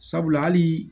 Sabula hali